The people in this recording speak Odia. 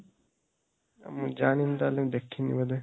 ମୁଁ ଜାଣିନି ତା ହେଲେ, ଦେଖିନି ବୋଧେ।